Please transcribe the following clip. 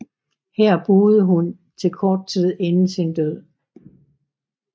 Her boede hun til kort tid inden sin død